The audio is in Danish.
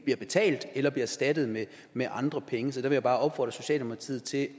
betalt eller erstattet med med andre penge så der vil jeg bare opfordre socialdemokratiet til